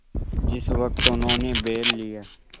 जिस वक्त उन्होंने बैल लिया